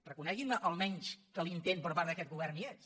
reconeguin me almenys que l’intent per part d’aquest govern hi és